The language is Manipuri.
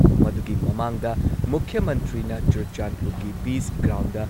ꯃꯗꯨꯒꯤ ꯃꯃꯥꯡꯗ ꯃꯨꯈ꯭ꯌ ꯃꯟꯇ꯭ꯔꯤꯅ ꯆꯨꯔꯆꯥꯟꯗꯄꯨꯔꯒꯤ ꯄꯤꯁ ꯒ꯭ꯔꯥꯎꯟꯗ